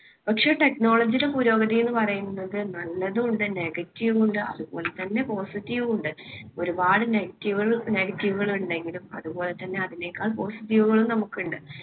പക്ഷേ technology യുടെ പുരോഗതി എന്ന് പറയുന്നത് നല്ലതുണ്ട്. negative ഉം ഉണ്ട് അതുപോലെതന്നെ positive ഉം ഉണ്ട്. ഒരുപാട് negative കള് negative കള് ഉണ്ടെങ്കിലും അതുപോലെതന്നെ അതിനേക്കാൾ positive കളും നമുക്കുണ്ട്.